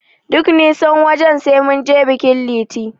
Duk nisan wajen, sai mun je bikin Liti.